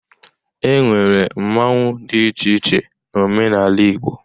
E nwere mmọnwụ dị iche iche n'omenala Igbo.